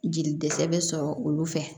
Jeli dɛsɛ bɛ sɔrɔ olu fɛ